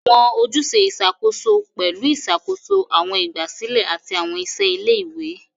Awọn ojuse iṣakoso pẹlu iṣakoso awọn igbasilẹ ati awọn iṣẹ ile-iwe.